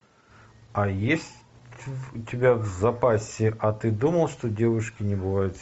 а есть у тебя в запасе а ты думал что девушки не бывают